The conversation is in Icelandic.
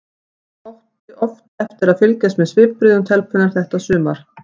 Hann átti oft eftir að fylgjast með svipbrigðum telpunnar þetta sumar.